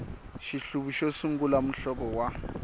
xihluvi xo sungula muhlovo wa